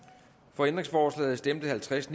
for ændringsforslaget stemte halvtreds